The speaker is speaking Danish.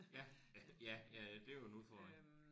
Ja ja ja. Ja ja det er jo en udfordring